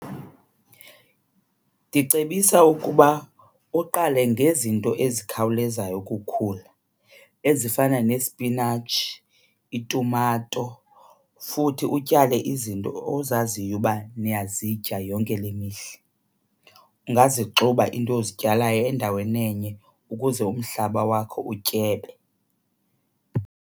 Ndicebisa ukuba uqale ngezinto ezikhawulezayo ukukhula, ezifana nesipinatshi itumato, futhi utyale izinto ozaziyo uba niyazityisa yonke le mihla. Ungazixuba into ozityalayo endaweni enye ukuze umhlaba wakho utyebe.